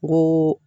N ko